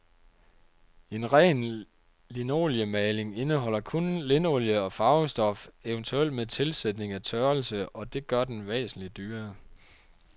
En ren linoliemaling indeholder kun linolie og farvestof, eventuelt med tilsætning af tørrelse, og det gør den væsentlig dyrere.